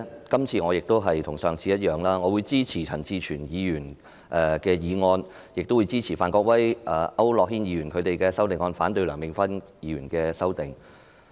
今次與上次一樣，我會支持陳志全議員的議案，亦支持范國威議員和區諾軒議員的修正案，但反對梁美芬議員的修正案。